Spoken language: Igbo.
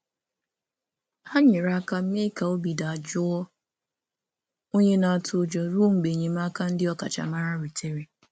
Ha nyere aka mee ka onye nwere ụjọ dị jụụ ruo mgbe enyemaka ọkachamara bịara.